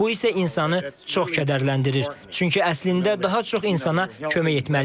Bu isə insanı çox kədərləndirir, çünki əslində daha çox insana kömək etməliyik.